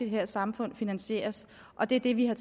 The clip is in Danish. her samfund finansieres og det er det vi har